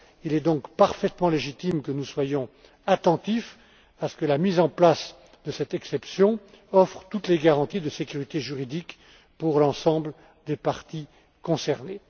Il est donc parfaitement légitime que nous soyons attentifs à ce que la mise en place de cette exception offre toutes les garanties de sécurité juridique pour l'ensemble des parties concernées.